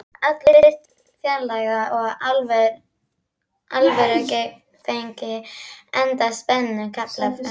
Allir virtust fjarlægir og alvörugefnir enda strembinn kafli framundan.